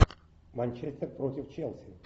манчестер против челси